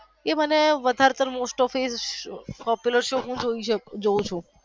એ મને વધારે most of popular shows હું જોવ છુ.